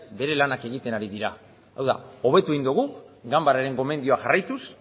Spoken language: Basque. bere lanak egiten ari dira hau da hobetu egin dogu ganbararen gomendioa jarraituz